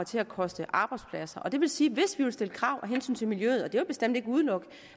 til at koste arbejdspladser det vil sige at hvis vi vil stille krav af hensyn til miljøet og det bestemt ikke udelukke